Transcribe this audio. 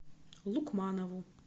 лукманову